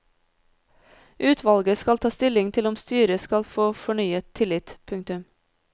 Utvalget skal ta stilling til om styret skal få fornyet tillit. punktum